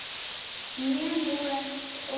Menúett og tríó